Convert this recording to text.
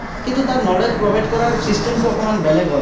কিন্তু, তাত knowledge provide কৰাৰ system অকণমান বেলেগ হয়।